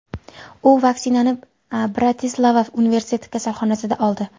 U vaksinani Bratislava universitet kasalxonasida oldi.